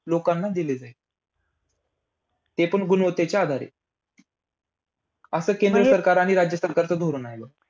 मात्र अमेरिकेने भारतावर तात्काळ आर्थिक निर्बंध लादले.